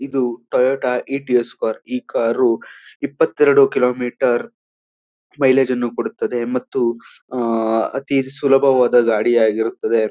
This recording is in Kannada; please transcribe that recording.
ಇದು ಟೊಯೋಟ ಇಟಿಯೋಸ್ ಕಾರು ಈ ಕಾರು ಇಪ್ಪತ್ತೆರಡು ಕಿಲೋಮೀಟರ್ ಮೈಲೇಜ್ ನ್ನುಕೊಡುತ್ತದೆ ಮತ್ತು ಆ ಅತೀ ಸುಲಭವಾದ ಗಾಡಿಯಾಗಿರುತ್ತದೆ.